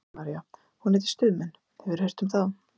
Kristín María: Hún heitir Stuðmenn, hefurðu heyrt um þá?